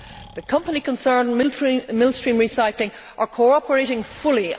The company concerned, Millstream Recycling, are cooperating fully.